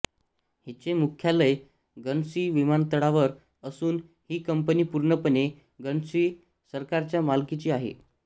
हीचे मुख्यालय गर्न्सी विमानतळावर असून ही कंपनी पूर्णपणे गर्न्सी सरकारच्या मालकीची आहे